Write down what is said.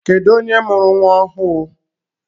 Kedụ onye mụrụ nwa ọhụụ?